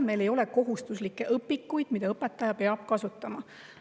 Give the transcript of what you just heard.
Meil ei ole kohustuslikke õpikuid, mida õpetaja peab kasutama.